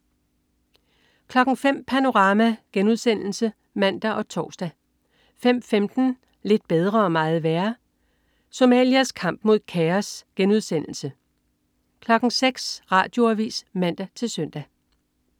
05.00 Panorama* (man og tors) 05.15 Lidt bedre og meget værre. Somalias kamp mod kaos* 06.00 Radioavis (man-søn)